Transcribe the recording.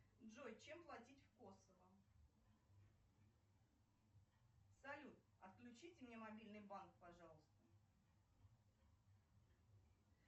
джой чем платить в косово салют отключите мне мобильный банк пожалуйста